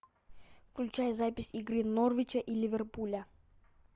включай запись игры норвича и ливерпуля